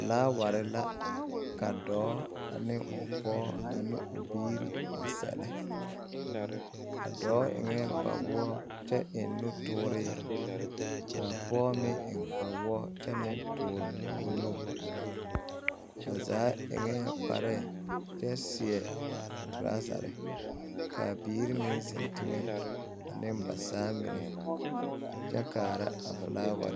Filaaware la ka dɔɔ ne o pɔge ne o biirI a a sɛlɛ a dɔɔ eŋɛ kpawoɔ kyɛ eŋ nutɔɔre ka a pɔge meŋ eŋ kpawoɔ kyɛ meŋ tɔɔre o nu ba zaa eŋɛɛ kpare kyɛ torazare ka a biiri meŋ zeŋ teŋɛ ane ba saa mine kyɛ kaara a filaaware.